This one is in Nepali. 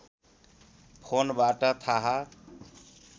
फोनबाट थाहा